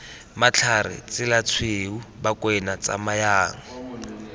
matlhare tsela tshweu bakwena tsamayang